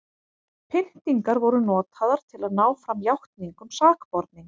pyntingar voru notaðar til að ná fram játningum sakborninga